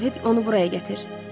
Arohet onu buraya gətir.